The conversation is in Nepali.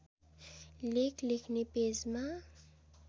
लेख लेख्‍ने पेजमा